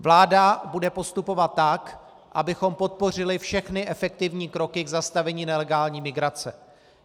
Vláda bude postupovat tak, abychom podpořili všechny efektivní kroky k zastavení nelegální migrace.